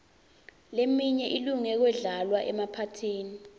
leminye ilunge kudlalwa emaphathini